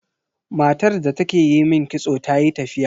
Matar da take yi min kitso tayi tafiya.